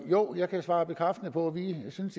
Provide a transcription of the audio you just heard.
jo jeg kan svare bekræftende på at vi synes